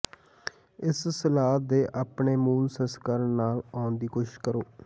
ਇਸ ਸਲਾਦ ਦੇ ਆਪਣੇ ਮੂਲ ਸੰਸਕਰਣ ਨਾਲ ਆਉਣ ਦੀ ਕੋਸ਼ਿਸ਼ ਕਰੋ